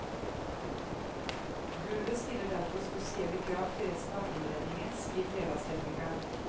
Gulvet stiller derfor spesielle krav til resten av innredningen, sier trelastteknikeren.